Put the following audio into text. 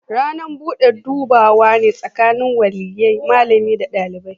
Ranar bude dubawa ne tsakanin waliyyai, malami da dalibi.